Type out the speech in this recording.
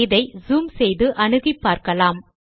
இதை ஜூம் செய்து அணுகி பார்க்கலாம்